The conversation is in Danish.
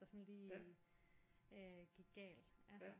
Der sådan lige gik galt altså